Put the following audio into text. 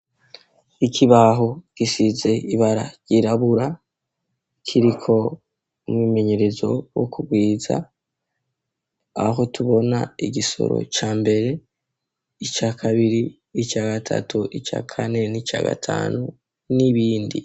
Ikibaho gisize ibara ryirabura, kiriko umyimenyerezo wo kurwiza, aho tubona igisoro ca mbere, ica kabiri, ica gatatu, ica kane n'ica gatanu n'ibindi...